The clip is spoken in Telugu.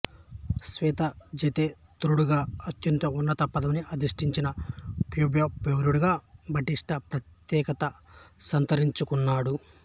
శ్వేతజేతేతరుడుగా అత్యంత ఉన్నత పదవిని అధిష్టించిన క్యూబాపౌరుడుగా బాటిస్టా ప్రత్యేకత సంతరించుకున్నాడు